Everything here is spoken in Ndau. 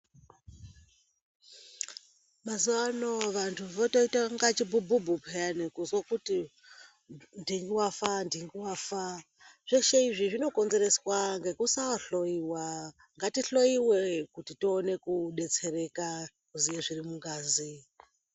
Mazuwa ano vantu votoita inga chibhubhubhu peyani kuzwe kuti ndingi wafa ndingi wafa. Zveshe izvi zvinokonzereswa ngekusahloyiwa. Ngatihloyiwe kuti tone kubetsereka kuziye zviri mungazi.